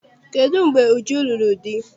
Kedụ mgbe Uju lụrụ di?